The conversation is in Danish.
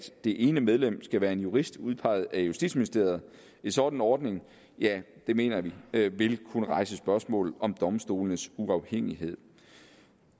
det ene medlem skal være en jurist udpeget af justitsministeriet en sådan ordning mener jeg vil kunne rejse spørgsmål om domstolenes uafhængighed